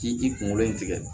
K'i ji kunkolo in tigɛ